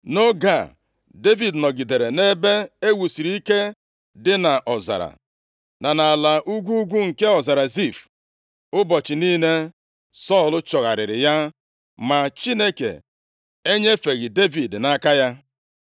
Nʼoge a, Devid nọgidere nʼebe e wusiri ike dị nʼọzara, na nʼala ugwu ugwu nke ọzara Zif. Ụbọchị niile, Sọl chọgharịrị ya ma Chineke enyefeghị Devid nʼaka ya.